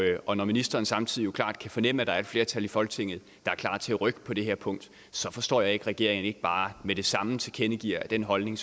og når ministeren jo samtidig klart kan fornemme at der er et flertal i folketinget der er klar til at rykke på det her punkt så forstår jeg ikke at regeringen ikke bare med det samme tilkendegiver at den holdning